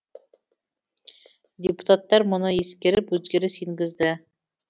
депутаттар мұны ескеріп өзгеріс енгізді